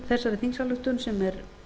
þessari þingsályktun sem er